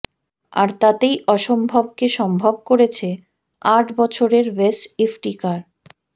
আর তাতেই অসম্ভবকে সম্ভব করেছে আট বছরের ওয়েস ইফতিকার